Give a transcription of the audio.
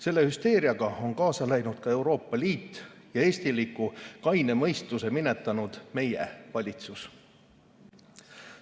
Selle hüsteeriaga on kaasa läinud ka Euroopa Liit ja meie valitsus, kes on minetanud eestiliku kaine mõistuse.